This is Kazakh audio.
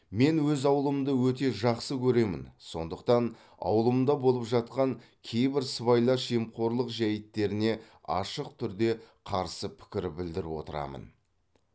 мен өз ауылымды өте жақсы көремін сондықтан ауылымда болып жатқан кейбір сыбайлас жемқорлық жәйттеріне ашық түрді қарсы пікір білдіріп отырамын